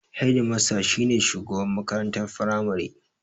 Hedimasta shi ne shugaban makarantar firamare.